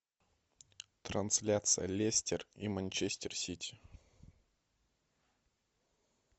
трансляция лестер и манчестер сити